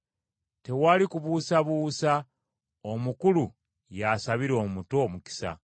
Tewali kubuusabuusa omukulu y’asabira omuto omukisa.